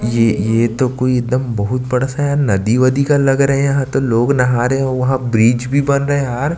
ये ये तो कोई एकदम बहुत बड़ा-सा यार नदी-वदी का लग रहा है यहाँ तो लोग नहा रहे है वहाँ ब्रीच भी बन रहा है यार--